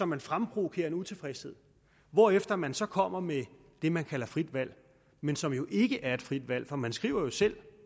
man fremprovokerer en utilfredshed hvorefter man så kommer med det man kalder frit valg men som jo ikke er et frit valg man skriver jo selv